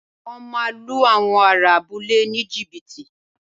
Wọ́n máa lu àwọn ará abúlé ní jìbìtì